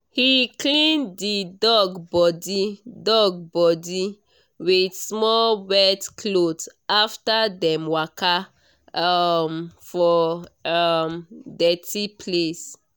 he clean the dog body dog body with small wet cloth after dem waka um for um dirty place.